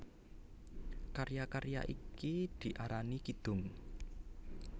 Karya karya iki diarani kidung